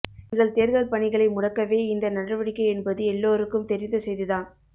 எங்கள் தேர்தல் பணிகளை முடக்கவே இந்த நடவடிக்கை என்பது எல்லோருக்கும் தெரிந்த செய்திதான்